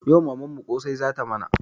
Yau mamanmu ƙosai zata mana